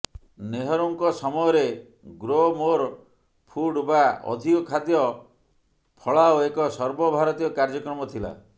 ନେହରୁଙ୍କ ସମୟରେ grow more food ବା ଅଧିକ ଖାଦ୍ୟ ଫଳାଅ ଏକ ସର୍ବ ଭାରତୀୟ କାର୍ଯ୍ୟକ୍ରମ ଥିଲା